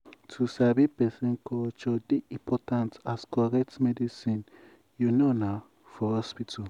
um to sabi person culture dey important as correct medicine you know na for hospital.